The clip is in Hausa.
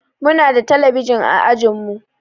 Muna da talabijin a ajinmu